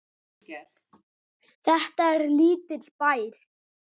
Þetta er lítill bær.